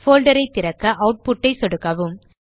folder ஐ திறக்க output ஐ சொடுக்கவும்